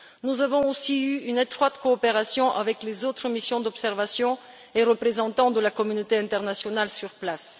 Nous avons aussi travaillé en étroite coopération avec les autres missions d'observation et représentants de la communauté internationale sur place.